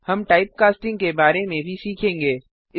हम type casting type costing के बारे में भी सीखेंगे